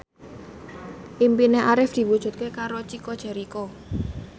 impine Arif diwujudke karo Chico Jericho